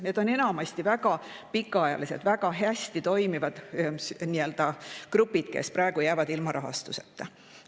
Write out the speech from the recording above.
Need on enamasti väga pikaajalised, väga hästi toimivad grupid, kes praegu jäävad ilma rahastuseta.